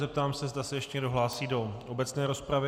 Zeptám se, zda se ještě někdo hlásí do obecné rozpravy.